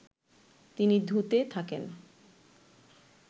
তিনি ধু-তে থাকেন